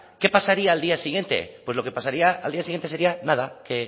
qué pasaría al día siguiente pues lo que pasaría al día siguiente sería nada que